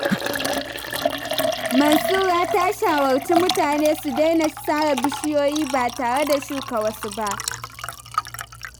Mansura ta shawarci mutane su daina sare bishiyoyi ba tare da shuka wasu ba.